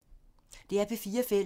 DR P4 Fælles